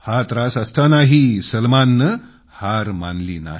हा त्रास असतानाही सलमान यानं हार मानली नाही